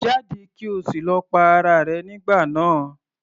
Jáde! kí o sì lọ pa ara rẹ nígbà náà.